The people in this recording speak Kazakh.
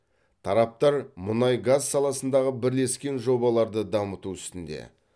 тараптар мұнай газ саласындағы бірлескен жобаларды дамыту үстінде